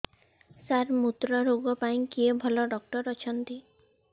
ସାର ମୁତ୍ରରୋଗ ପାଇଁ କିଏ ଭଲ ଡକ୍ଟର ଅଛନ୍ତି